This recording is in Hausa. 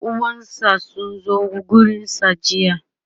ƴan uwansa sun zo gurinsa jiya